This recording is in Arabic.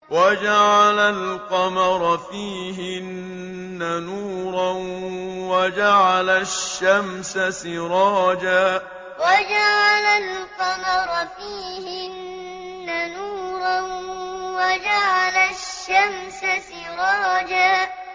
وَجَعَلَ الْقَمَرَ فِيهِنَّ نُورًا وَجَعَلَ الشَّمْسَ سِرَاجًا وَجَعَلَ الْقَمَرَ فِيهِنَّ نُورًا وَجَعَلَ الشَّمْسَ سِرَاجًا